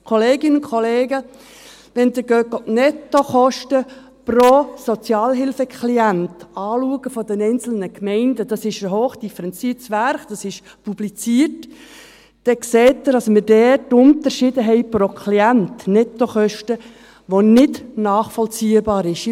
– Kolleginnen und Kollegen, wenn Sie sich die Nettokosten pro Sozialhilfeklient der einzelnen Gemeinden anschauen – das ist ein hochdifferenziertes Werk, das ist publiziert –, dann sehen Sie, dass wir dort Unterschiede haben pro Klient, Nettokosten, was nicht nachvollziehbar ist.